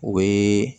O bɛ